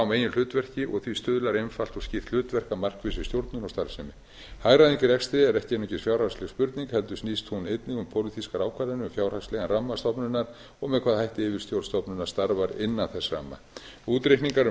meginhlutverki því stuðlar einfalt og skýrt hlutverk að markvissri stjórnun og starfsemi hagræðing í rekstri er ekki mikil fjárhagsleg spurning heldur snýst hún einnig um pólitískar ákvarðanir um fjárhagslegan ramma stofnunar og með hvaða hætti yfirstjórn stofnunar starfar innan þess ramma útreikningar um